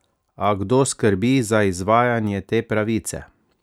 A kdo skrbi za izvajanje te pravice?